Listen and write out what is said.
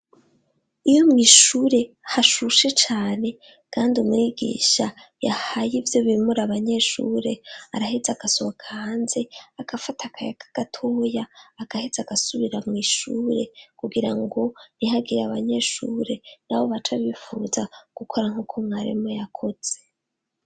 Iyo mu ishure hashushe cane kandi umwigisha yahaye ivyo bimura abanyeshure arahetse agasohoka hanze akafata akaya kagatoya akahetze agasubira mu ishure kugira ngo ntihagire abanyeshure nabo bacabifuza gukora nk'uko mwarimu yakoze.